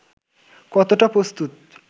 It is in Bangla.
কতটা প্রস্তুত